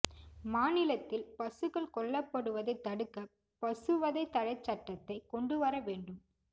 மாநிலத்தில் பசுக்கள் கொல்லப்படுவதைத் தடுக்க பசுவதை தடைச் சட்டத்தைக் கொண்டு வர வேண்டும்